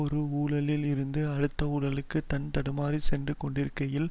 ஒரு ஊழலில் இருந்து அடுத்த ஊழலுக்கு தட்டு தடுமாறி சென்று கொண்டிருக்கையிலும்